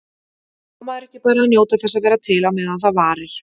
Á maður ekki bara að njóta þess að vera til á meðan það varir?